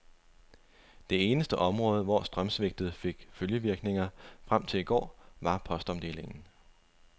Det eneste område, hvor strømsvigtet fik følgevirkninger frem til i går, var postomdelingen.